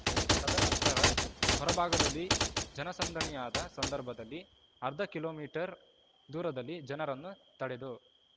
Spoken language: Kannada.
ತದನಂತರ ಹೊರಭಾಗದಲ್ಲಿ ಜನಸಂದಣಿಯಾದ ಸಂದರ್ಭದಲ್ಲಿ ಅರ್ಧ ಕಿಲೋಮೀಟರ್‌ ದೂರದಲ್ಲಿ ಜನರನ್ನು ತಡೆದು